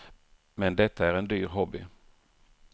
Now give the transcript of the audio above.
Men detta är en dyr hobby.